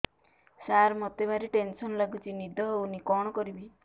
ସାର ମତେ ଭାରି ଟେନ୍ସନ୍ ଲାଗୁଚି ନିଦ ହଉନି କଣ କରିବି